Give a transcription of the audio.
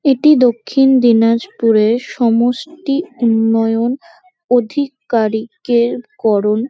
এটি দক্ষিণ দিনাজপুরে সমষ্টি উন্নয়ন অধি-কারী-কের করণ।